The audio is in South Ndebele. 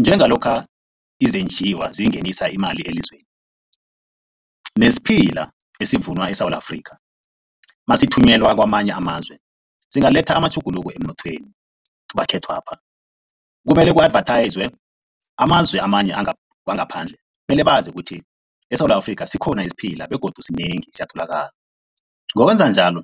Njengalokha izenjiwa zingenisa imali elizweni nesiphila esivunwa eSewula Afrika masithunyelwa kwamanye amazwe, zingaletha amatjhuguluko emnothweni wekhethwapha. Kumele ku-advethayizwe amazwe amanye wangaphandle mele bazi ukuthi eSewula Afrika sikhona isiphila begodu sinengi siyatholakala. Ngokwenza njalo,